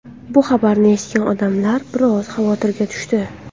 Bu xabarni eshitgan odamlar biroz xavotirga tushdi.